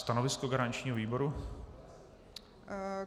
Stanovisko garančního výboru?